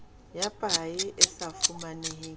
ya paye e sa fumaneheng